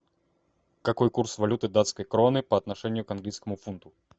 какой курс валюты датской кроны по отношению к английскому фунту